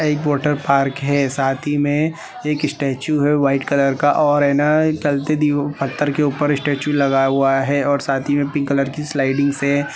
यह एक वाटरपार्क हैं साथी में एक स्टेचू हैं वाइट कलर का और है न चलते पत्थर के ऊपर स्टेचू लगा हुआ है और साथी ही में पिंक कलर की स्लाइडिंग हैं।